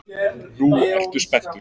Nú ertu spenntur.